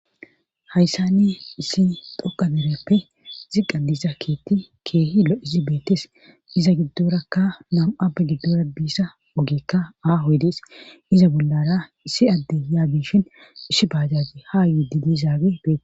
hayssani issi dhoqqa dereppe ziqa biiza keetti keehi lo'izi beetes iza giddorakka nam'appe giddora biza ogeekka aaho oogey dees iza bollara issi adde yaagishin ishi baajati ha yidinizaagey beetes